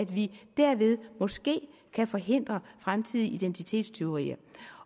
vi derved måske kan forhindre fremtidige identitetstyverier